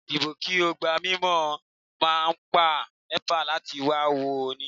Dípò kí ó gbá mi mo máa pe Nepa láti wá wò ó ni